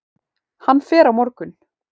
Hann fer á morgun.